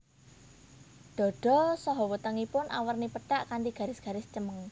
Dada saha wetengipun awerni pethak kanthi garis garis cemeng